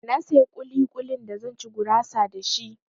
Na saya ƙuli-ƙulin da zan ci gurasa da shi.